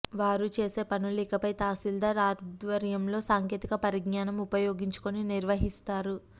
వారు చేసేపనులు ఇకపై తహశీల్దార్ ఆధ్వర్యంలో సాంకేతిక పరిజ్ఞానం ఉపయోగించుకుని నిర్వహిస్తారు